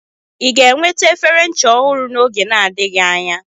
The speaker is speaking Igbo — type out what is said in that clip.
Ị ga-eweta efere ncha ọhụrụ n'oge na-adịghị anya?